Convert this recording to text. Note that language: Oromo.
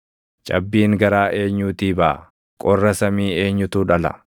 Cabbiin garaa eenyuutii baʼa? Qorra samii eenyutu dhala?